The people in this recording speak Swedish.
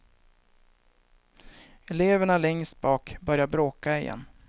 Eleverna längst bak börjar bråka igen.